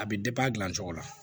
A bɛ a dilancogo la